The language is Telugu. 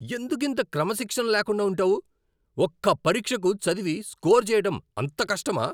ఎందుకింత క్రమశిక్షణ లేకుండా ఉంటావు? ఒక్క పరీక్షకు చదివి స్కోర్ చేయడం అంత కష్టమా?